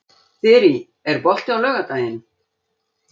Þyrí, er bolti á laugardaginn?